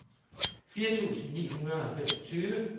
fire tusind ni hundrede og femogtyve